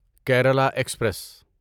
Kerala express